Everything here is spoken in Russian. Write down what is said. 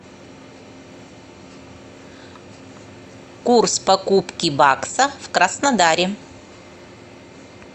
курс покупки бакса в краснодаре